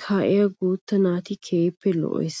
kaa'iya guuta naati keehippe lo'ees.